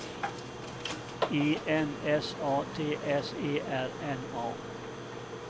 I N S A T S E R N A